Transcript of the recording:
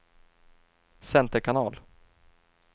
center kanal